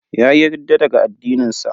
Yayi ridda daga addinin sa.